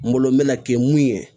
N bolo n mɛ na kɛ mun ye